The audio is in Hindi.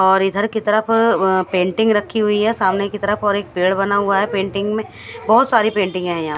और इधर की तरफ पेंटिंग रखी हुई है सामने की तरफ और एक पेड़ बना हुआ है पेंटिंग में बोहोत सारी पेंटिंग है यहाँ--